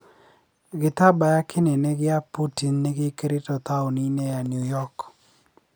Gĩtambaya kĩnene gĩa Putin nĩgĩkĩrĩtwo tauni-inĩ ya Newyork.